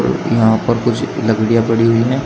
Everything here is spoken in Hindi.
यहां पर कुछ लकड़ियां पड़ी हुई हैं।